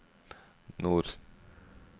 nord